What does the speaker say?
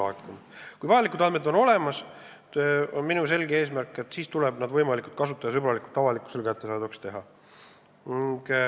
Minu selge eesmärk on, et kui vajalikud andmed on olemas, siis tuleb need võimalikult kasutajasõbralikult avalikkusele kättesaadavaks teha.